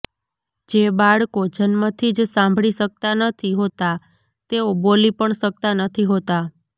જે બાળકો જન્મથી જ સાંભળી શકતા નથી હોતા તેઓ બોલી પણ શકતા નથી હોતા